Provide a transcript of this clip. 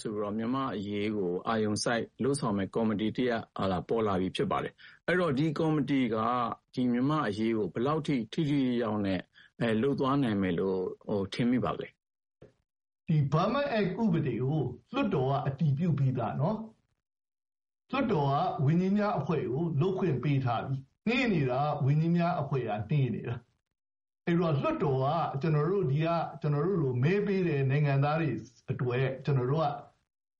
ဆိုပြီးတော့ မြန်မာ့အရေးကို အာရုံစိုက်လုပ်ဆောင်မယ့် ကော်မတီတရပ်ပေါ်လာပြီဖြစ်ပါတယ်။ အဲဒီတော့ ဒီကော်မတီက မြန်မာ့အရေးကို ဘယ်လောက်အထိ ထိထိရောက်ရောက်နဲ့ လုပ်သွားနိုင်မယ်လို့ ထင်မိပါသလဲ။ ဦးဂျိမ်းရွှေ။ ။ ဒီ Burma Act ဥပဒေကို လွှတ်တော်က အတည်ပြုပြီးသား-နော်။ လွှတ်တော်က ဝန်ကြီးများအဖွဲ့ကို လုပ်ခွင့်ပေးထားပြီ။ အေးနေတာက ဝန်ကြီးများအဖွဲ့က အေးနေတာ။ အဲဒီတော့ လွှတ်တော်က ကျနော်တို့လို မဲပေးတဲ့နိုင်ငံသားတွေအတွက် ကျနော်တို့က